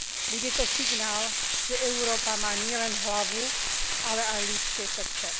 Bude to signál, že Európa má nielen hlavu, ale aj ľudské srdce.